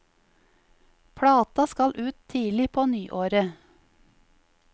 Plata skal ut tidlig på nyåret.